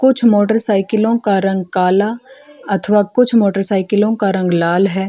कुछ मोटरसाइकिलो का रंग काला अथवा कुछ मोटरसाइकिलो का रंग लाल है।